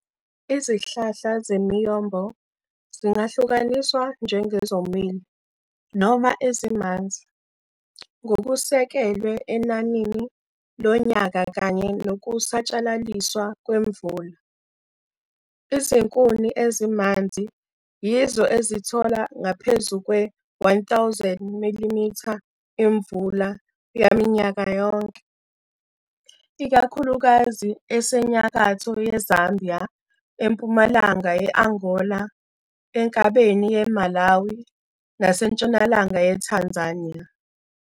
Izihlahla zeMiyombo zingahlukaniswa njengezomile noma ezimanzi ngokusekelwe enanini lonyaka kanye nokusatshalaliswa kwemvula. Izinkuni ezimanzi yizo ezithola ngaphezu kwe-1000 mm imvula yaminyaka yonke, ikakhulukazi esenyakatho yeZambia, empumalanga ye-Angola, enkabeni yeMalawi, nasentshonalanga yeTanzania.